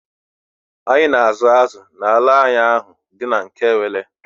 Anyị na azụ azụ n'ala anyị ahụ dị n'Nkwelle